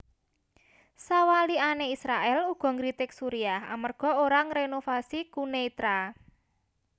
Sawalikané Israèl uga ngritik Suriah amerga ora ngrénovasi Quneitra